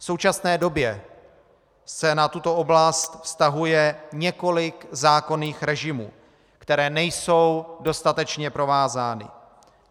V současné době se na tuto oblast vztahuje několik zákonných režimů, které nejsou dostatečně provázány.